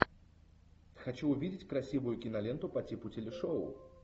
хочу увидеть красивую киноленту по типу телешоу